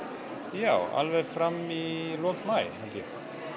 já alveg fram í lok maí held ég